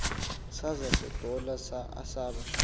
saza sadola asaba